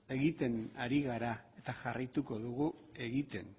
egiten ari gara eta jarraituko dugu egiten